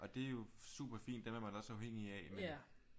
Og det er jo superfint dem er man også afhængig af men